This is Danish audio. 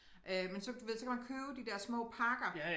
Øh men så du ved så kan man købe de der små pakker